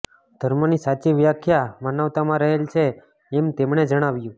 ધર્મની સાચી વ્યાખ્યા માનવતામાં રહેલ છે એમ તેમણે જણાવ્યું